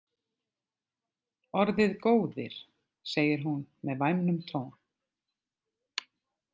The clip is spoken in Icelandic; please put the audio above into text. Orðið góðir segir hún með væmnum tón.